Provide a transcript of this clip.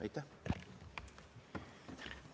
Aitäh!